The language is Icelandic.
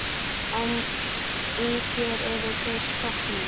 En í þér eru þeir stroknir.